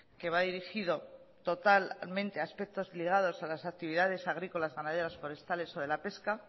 que va dirigido totalmente aspectos ligados a las actividades agrícolas ganaderas forestales o de la pesca